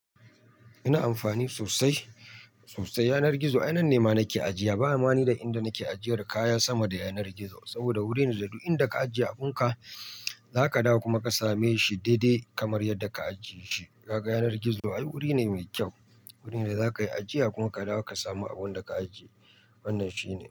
Ina amfani sosai, sosai. Yanar gizo, ai nanne nema nake ajiya. Ba ma ni da inda nake ajiyar kaya sama da yanar gizo saboda wuri ne da duk inda ka ajiye abunka, zaka dawo kuma ka same shi daidai kamar yadda ka ajiye shi. Kaga yanar gizo, ai wuri ne mai kyau. Wuri da zaka yi ajiya kuma ka dawo ka samu abun da ka ajiye. Wannan shine.